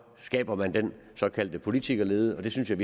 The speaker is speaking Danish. skaber den såkaldte politikerlede og det synes jeg